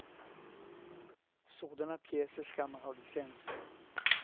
Sådana pjäser ska man ha licens för.